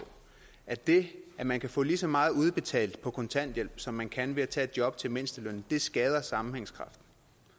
at det at man kan få lige så meget udbetalt på kontanthjælp som man kan ved at tage et job til mindstelønnen skader sammenhængskraften